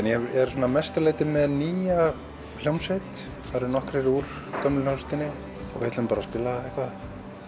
er svona að mestu leyti með nýja hljómsveit það eru nokkrir úr gömlu hljómsveitinni og við ætlum bara að spila eitthvað